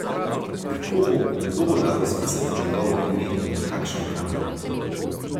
Kako bo in kdo bo dal izpisati njegovo ime in na kakšen kamen?